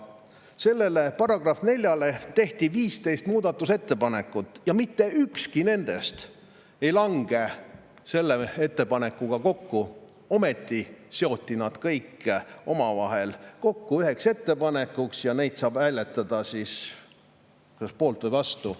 Selle § 4 muutmiseks tehti 15 ettepanekut ja mitte ükski nendest ei lange selle ettepanekuga kokku, ometi seoti need kõik omavahel kokku üheks ettepanekuks ja nende puhul saab hääletada kas poolt või vastu.